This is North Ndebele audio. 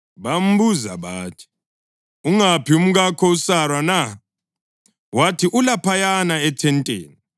Bambuza bathi, “Ungaphi umkakho uSara na?” Wathi, “Ulaphayana, ethenteni.”